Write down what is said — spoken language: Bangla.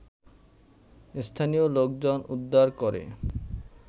স্থানীয় লোকজন উদ্ধারকরে